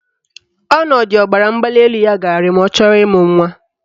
Ọnọdụ ọbaramgbalịelu ya ga-arị ma ọ chọrọ ịmụ nwa